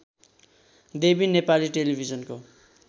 देवी नेपाली टेलिभिजनको